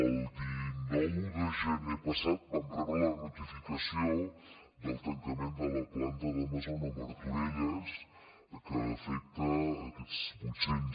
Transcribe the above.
el dinou de gener passat vam rebre la notificació del tancament de la planta d’amazon a martorelles que afecta aquests vuitcents